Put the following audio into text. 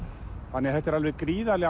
þannig að þetta er alveg gríðarleg